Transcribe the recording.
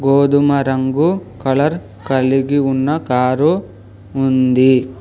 గోధుమ రంగు కలర్ కలిగి ఉన్న కారు ఉంది.